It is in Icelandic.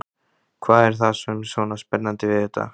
Hvað er það sem er svona spennandi við þetta?